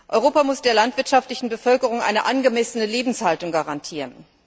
Europa muss der landwirtschaftlichen Bevölkerung eine angemessene Lebenshaltung garantieren.